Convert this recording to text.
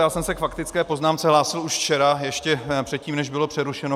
Já jsem se k faktické poznámce hlásil už včera, ještě předtím, než bylo přerušeno.